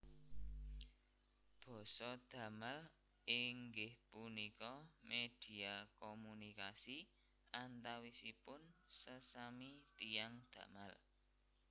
Basa Damal inggih punika media komunikasi antawisipun sesami tiyang damal